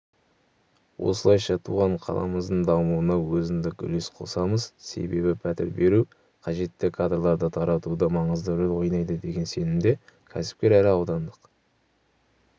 осылайша туған қаламыздың дамуына өзіндік үлес қосамыз себебі пәтер беру қажетті кадрларды таратуда маңызды рөл ойнайды деген сенімде кәсіпкер әрі аудандық